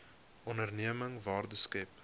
onderneming waarde skep